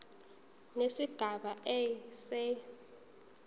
nesigaba a se